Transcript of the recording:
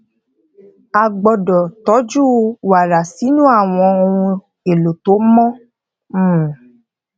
a gbódò tójú wàrà sínú àwọn ohun èlò tó mó um